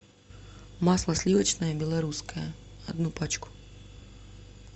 масло сливочное белорусское одну пачку